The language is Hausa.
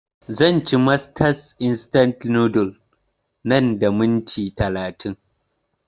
Zan ci masters instant noodles nan da minti talatin